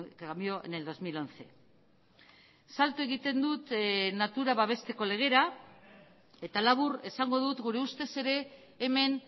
cambió en el dos mil once salto egiten dut natura babesteko legera eta labur esango dut gure ustez ere hemen